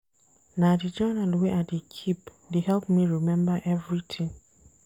Na di journal wey I dey keep dey help me rememba everytin.